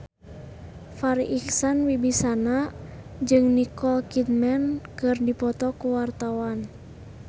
Farri Icksan Wibisana jeung Nicole Kidman keur dipoto ku wartawan